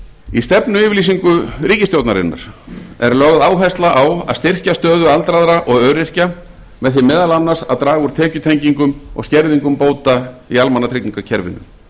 í stefnuyfirlýsingu ríkisstjórnarinnar er lögð áhersla á að styrkja stöðu aldraðra og öryrkja með því meðal annars að draga úr tekjutengingum og skerðingum bóta í almannatryggingakerfinu